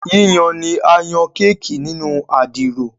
Yíyan ní a yan Kéèkì nínú Àdìrò.